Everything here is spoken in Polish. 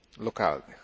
lokalnych.